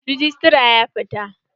Rejistra ya fita.